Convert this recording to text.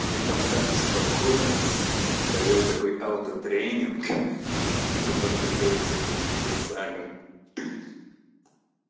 он там так успокоился провёл такой аутотренинг ха-ха чтобы подготовиться к таким мессагам